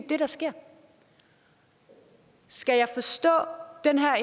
det der sker skal jeg forstå